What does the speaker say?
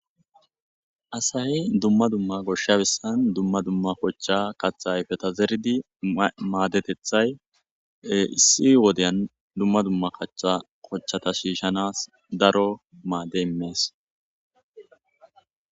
Asay dumma dumma gosha bessan dumma dumma kocha kaththa ayfeta zeridi maddetethay issi wodiyan dumma dumma kaththa kochata shishshanaw daro maado imees.